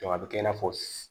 a bɛ kɛ i n'a fɔ